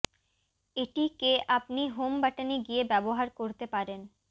এটি কে আপনি হোম বাটনে গিয়ে ব্যবহার করতে পারেন